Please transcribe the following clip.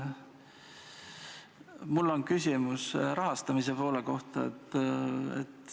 Mul on küsimus rahastamise kohta.